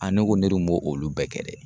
ne ko ne dun b'o olu bɛɛ kɛ dɛ.